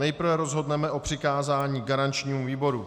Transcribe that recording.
Nejprve rozhodneme o přikázání garančnímu výboru.